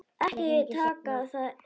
Ekki taka það illa upp.